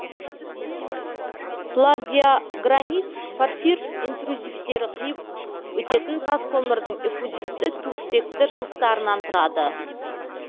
плагиогранит порфир интрузивтері қиып өтетін тас көмірдің эффузивті туфтекті жыныстарынан тұрады